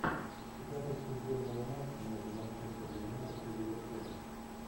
запись футбольного матча между манчестер юнайтед и ливерпулем